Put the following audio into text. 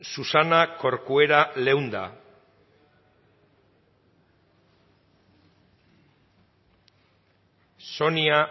susana corcuera leunda sonia